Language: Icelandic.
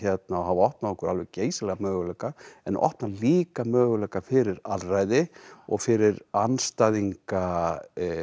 hafa opnað okkur alveg geysilega möguleika en opna líka möguleika fyrir alræði og fyrir andstæðinga